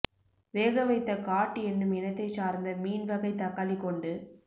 வேகவைத்த cod என்னும் இனத்தைச் சார்ந்த மீன் வகை தக்காளி கொண்டு